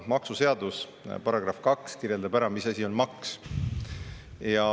Maksuseaduse § 2 kirjeldab ära, mis asi on maks.